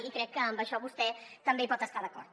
i crec que en això vostè també hi pot estar d’acord